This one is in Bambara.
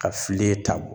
Ka fili ta